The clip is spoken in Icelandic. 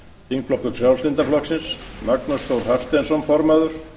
þingflokkur frjálslynda flokksins magnús þór hafsteinsson formaður